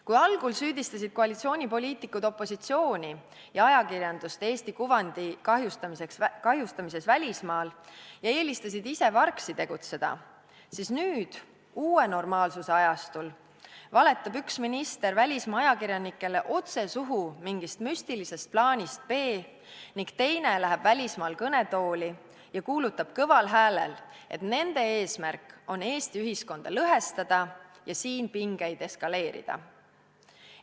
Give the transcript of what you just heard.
Kui algul süüdistasid koalitsioonipoliitikud opositsiooni ja ajakirjandust Eesti kuvandi kahjustamises välismaal ja eelistasid ise vargsi tegutseda, siis nüüd – uue normaalsuse ajastul – valetab üks minister välismaa ajakirjanikele otse suhu mingist müstilisest plaanist B ning teine läheb välismaal kõnetooli ja kuulutab kõval häälel, et nende eesmärk on Eesti ühiskonda lõhestada ja siin pingeid eskaleerida.